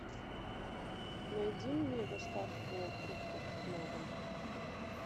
найди мне доставку фруктов на дом